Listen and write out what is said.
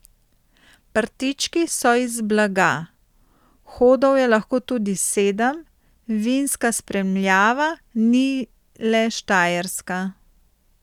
Prtički so iz blaga, hodov je lahko tudi sedem, vinska spremljava ni le štajerska.